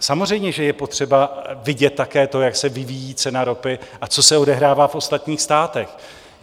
Samozřejmě že je potřeba vidět také to, jak se vyvíjí cena ropy a co se odehrává v ostatních státech.